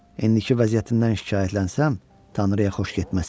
İndiki vəziyyətimdən şikayətlənsəm, Tanrıya xoş getməz.